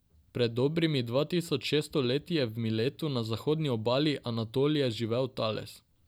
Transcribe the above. Pred dobrimi dva tisoč šeststo leti je v Miletu na zahodni obali Anatolije živel Tales.